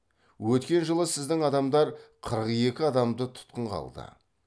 өткен жылы сіздің адамдар қырық екі адамды тұтқынға алды